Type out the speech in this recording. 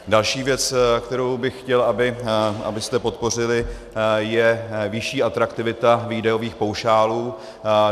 Další věc, kterou bych chtěl, abyste podpořili, je vyšší atraktivita výdajových paušálů.